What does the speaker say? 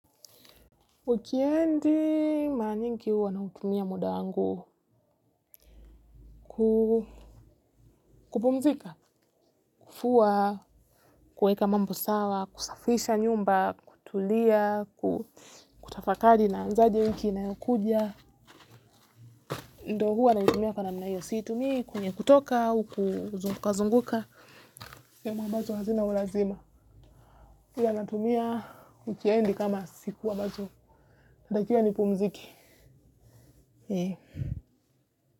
Wikendi mara nyingi huwa nautumia muda wangu kuoumzika, kufua, kuweka mambo sawa, kusafisha nyumba, kutulia, kutafakari naanzaje wiki inayokuja. Ndo huwa naitumia kwa namna hiyo, siitumi kwenye kutoka au kuzungukazunguka. Sehema ambazo hazina ulazima. Pia natumia wikendi kama siku ambazo natakiwa nipumzike.